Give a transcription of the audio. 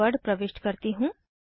password प्रविष्ट करती हूँ